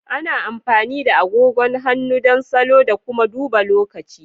Ana amfani da agogon hannu don salo da kuma duba lokaci.